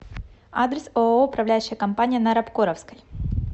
адрес ооо управляющая компания на рабкоровской